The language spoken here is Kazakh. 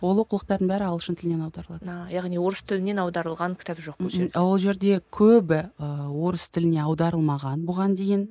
ол оқулықтардың бәрі ағылшын тілінен аударылады ыыы яғни орыс тілінен аударылған кітап жоқ ол жерде ол жерде көбі ыыы орыс тіліне аударылмаған бұған дейін